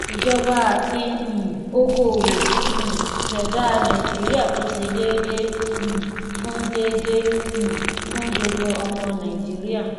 ìjọba àti um okoòwò um ṣẹdá nàìjíríà tó ṣe déédéé um fún déédéé um fún gbogbo ọmọ nàìjíríà.